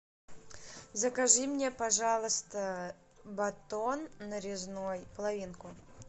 закажи мне пожалуйста батон нарезной половинку